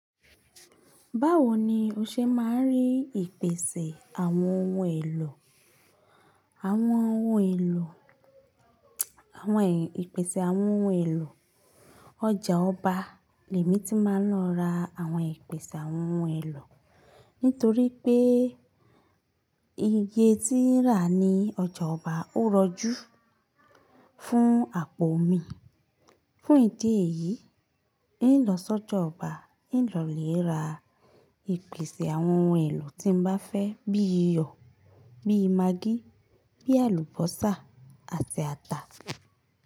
Báwo ni o ṣe máa ń rí ìpèsè àwọn ohun èlò? Àwọn ohun èlò, àwọn ìpèsè àwọn ohun èlò. Ọjà ọba lòmi tí máa ń lọ ra àwọn ìpèsè àwọn ohun èlò nítorí pé iye tí ó ń rà ní ọjà ọba ó rọjú fún àpò mi. Fún ìdí èyí, nígbà tí mo sọ́jà ọba, nígbà mo lè ra ìpèsè àwọn ohun èlò tí mo bá fẹ́ bíi iyọ̀, bíi magí, bíi àlùbọ́sà àti ata.